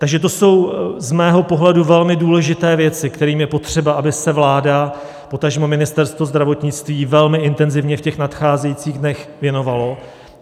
Takže to jsou z mého pohledu velmi důležité věci, kterým je potřeba, aby se vláda, potažmo Ministerstvo zdravotnictví velmi intenzivně v těch nadcházejících dnech věnovalo.